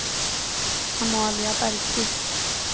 Amalia Bergkvist